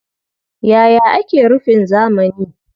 Yaya ake rufin zamani?